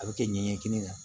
A bɛ kɛ ɲɛɲɛkinin na